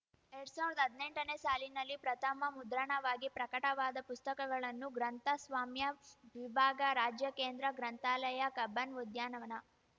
ಎರಡ್ ಸಾವಿರ್ದಾ ಹದ್ನೆಂಟನೇ ಸಾಲಿನಲ್ಲಿ ಪ್ರಥಮ ಮುದ್ರಣವಾಗಿ ಪ್ರಕಟವಾದ ಪುಸ್ತಕಗಳನ್ನು ಗ್ರಂಥಸ್ವಾಮ್ಯ ವಿಭಾಗ ರಾಜ್ಯ ಕೇಂದ್ರ ಗ್ರಂಥಾಲಯ ಕಬ್ಬನ್‌ ಉದ್ಯಾನವನ